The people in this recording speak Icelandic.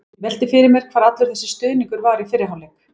Ég velti því fyrir mér hvar allur þessi stuðningur var í fyrri hálfleik?